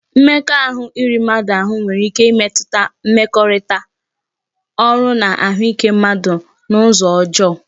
Mmekọahụ iri mmadu ahụ nwere ike ịmetụta mmekọrịta, ọrụ na ahụike mmadụ n'ụzọ ọjọọ